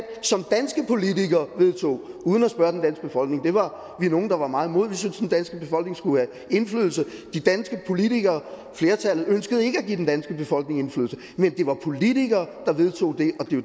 som danske politikere vedtog uden at spørge den danske befolkning det var vi nogle der var meget imod vi syntes den danske befolkning skulle have indflydelse de danske politikere flertallet ønskede ikke at give den danske befolkning indflydelse men det var politikere der vedtog